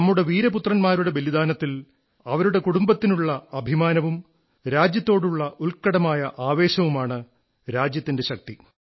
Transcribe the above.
നമ്മുടെ വീരപുത്രൻമാരുടെ ബലിദാനത്തിലും അവരെക്കുറിച്ച് അവരുടെ കുടുംബത്തിനുള്ള അഭിമാനബോധവും രാജ്യത്തോടുള്ള ഉത്കടമായ ആവേശവുമാണ് രാജ്യത്തിന്റെ ശക്തി